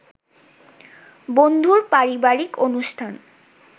বন্ধুর পারিবারিক অনুষ্ঠান